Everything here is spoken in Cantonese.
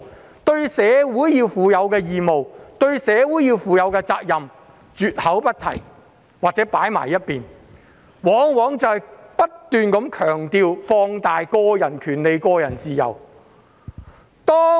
個人對社會應負的義務和責任，價值觀教育竟絕口不提，又或是擱置一旁，只強調並放大個人權利及自由。